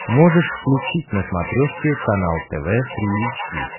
можешь включить на смотрешке канал тв три эйч ди